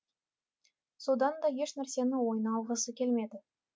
сонда да ешнәрсені ойына алғысы келмеді